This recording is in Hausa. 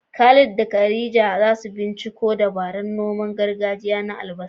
Khalid da Khadija za su binciko dabarun noman gargajiya na albasa.